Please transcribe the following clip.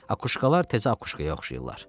Akuşkalar təzə akuşkaya oxşayırdılar.